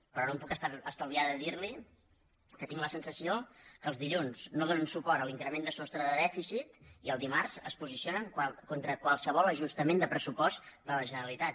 però no em puc estalviar de dir li que tinc la sensació que el dilluns no donen suport a l’increment de sostre de dèficit i el dimarts es posicionen contra qualsevol ajustament de pressupost de la generalitat